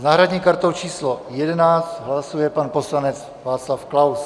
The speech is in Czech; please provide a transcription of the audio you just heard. S náhradní kartou číslo 11 hlasuje pan poslanec Václav Klaus.